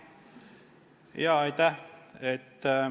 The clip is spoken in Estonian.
Aitäh!